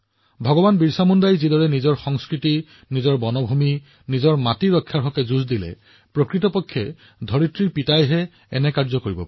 ভগৱান বিৰচা মুণ্ডাই যিদৰে তেওঁৰ সংস্কৃতি তেওঁৰ অৰণ্য তেওঁৰ ভূমিৰ সুৰক্ষাৰ বাবে যুঁজ দিছিল সেয়া কেৱল পৃথিৱীৰ পিতৃয়েহে কৰিব পাৰে